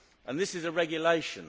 This is a regulation.